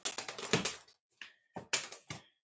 Er grasið grænt?